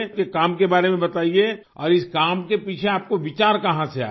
अपने काम के बारे में बताइए और इस काम के पीछे आपको विचार कहाँ से आया